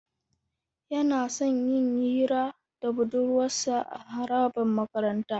Yana son yin hira da budurwarsa a harabar makaranta.